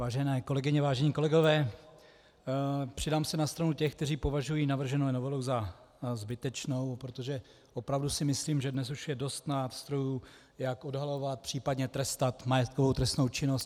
Vážené kolegyně, vážení kolegové, přidám se na stranu těch, kteří považují navrženou novelu za zbytečnou, protože opravdu si myslím, že dnes už je dost nástrojů, jak odhalovat, případně trestat majetkovou trestnou činnost.